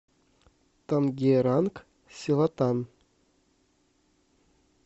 тангеранг селатан